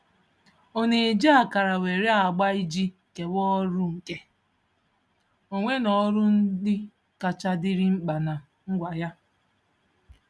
Ọ na-eji akara nwere agba iji kewaa ọrụ, nke onwe na ọrụ ndị kacha dịrị mkpa na ngwa ya.